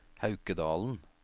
Haukedalen